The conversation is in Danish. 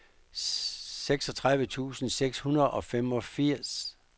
seksogtredive tusind seks hundrede og femogfirs